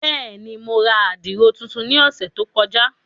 Bẹ́ẹ̀ni, Mo rà àdiro tuntun ni ọsẹ to kọja.